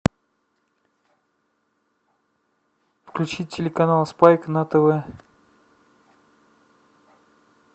включи телеканал спайк на тв